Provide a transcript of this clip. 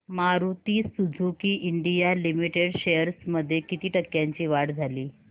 Maruti Suzuki India limited shares मध्ये किती टक्क्यांची वाढ झाली